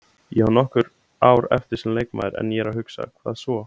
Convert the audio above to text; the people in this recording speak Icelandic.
Ég á nokkur ár eftir sem leikmaður en ég er að hugsa, hvað svo?